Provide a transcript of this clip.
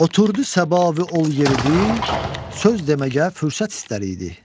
Oturdu Səba ol yer idi, söz deməgə fürsət istər idi.